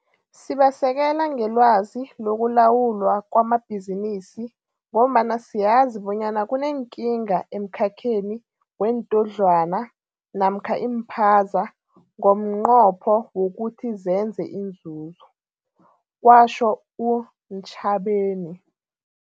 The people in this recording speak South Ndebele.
Sibasekela ngelwazi lokulawulwa kwamabhizinisi ngombana siyazi bonyana kuneenkinga emkhakheni weentodlwana namkha iimphaza ngomnqopho wokuthi zenze inzuzo, kwatjho u-Ntshavheni.